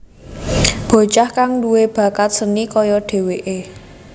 Bocah kang duwé bakat seni kaya dheweké